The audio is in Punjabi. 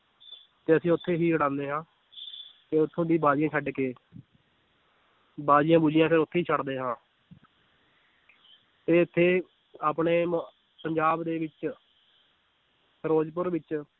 ਤੇ ਅਸੀਂ ਉੱਥੇ ਹੀ ਉਡਾਉਂਦੇ ਹਾਂ ਤੇ ਉੱਥੋਂ ਦੀ ਬਾਜੀਆਂ ਛੱਡ ਕੇ ਬਾਜੀਆਂ ਬੂਜੀਆਂ ਫਿਰ ਉੱਥੇ ਹੀ ਛੱਡਦੇ ਹਾਂ ਤੇ ਇੱਥੇ ਆਪਣੇ ਮੁ~ ਪੰਜਾਬ ਦੇ ਵਿੱਚ ਫਿਰੋਜ਼ਪੁਰ ਵਿੱਚ